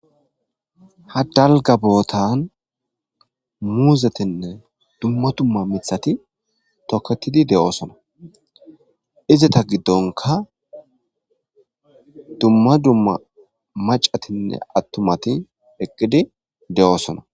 Ha dalga botan muzetine duma duma mithati toketidi de'osona izeta giddonka duma duma mac'atinne attumati eqidi de'osona.